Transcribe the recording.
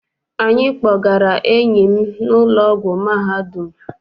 Anyị gbọgara enyi m n'ụlọ ọgwụ mahadum anyị.